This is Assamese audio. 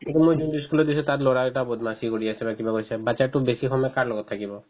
ই school দিছো তাত ল'ৰাকেইটাই বদমাছী কৰি আছে বা কিবা কৰিছে batches তোক বেছি সময় কাৰ লগত থাকিব